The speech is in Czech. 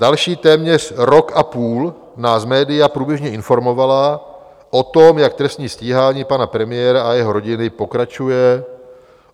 Další téměř rok a půl nás média průběžně informovala o tom, jak trestní stíhání pana premiéra a jeho rodiny pokračuje.